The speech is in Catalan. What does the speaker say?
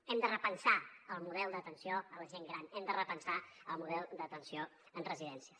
hem de repensar el model d’atenció a la gent gran hem de repensar el model d’atenció en residències